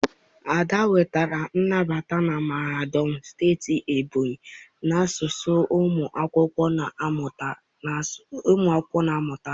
ada nwetara nnabata na mahadum steeti Ebonyi n'asụsụ ụmụ akwụkwọ na mmụta asụsụ.